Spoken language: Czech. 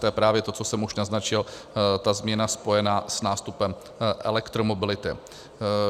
To je právě to, co jsem už naznačil, ta změna spojená s nástupem elektromobility.